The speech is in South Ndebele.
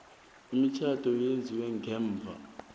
imitjhado eyenziwe ngemva